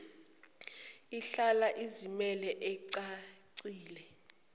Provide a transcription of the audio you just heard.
ihlala izimele icacile